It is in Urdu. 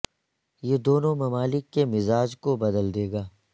یہ دونوں ممالک کے مزاج کو بدل دے گا